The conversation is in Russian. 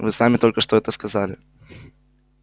вы сами только что это сказали